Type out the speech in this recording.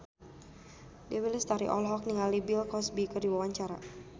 Dewi Lestari olohok ningali Bill Cosby keur diwawancara